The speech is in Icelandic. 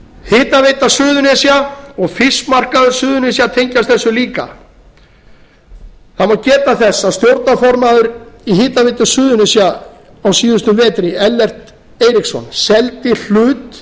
hitaveita suðurnesja og fiskmarkaður suðurnesja tengjast þessu líka það má geta þess að stjórnarformaður í hitaveitu suðurnesja á síðastliðnum vetri ellert eiríksson seldi hlut